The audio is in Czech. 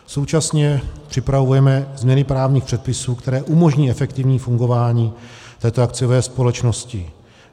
Současně připravujeme změny právních předpisů, které umožní efektivní fungování této akciové společnosti.